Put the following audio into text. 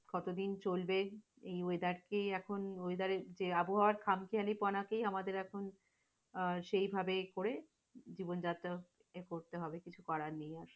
কত দিন চলবে? এই weather টি এখন weather এর যে আবহাওয়ার খামখেয়ালিপনা কে আমাদের এখন আহ সেইভাবে করে, জীবনযাত্রার করতে হবে কিছু করার নেই আর।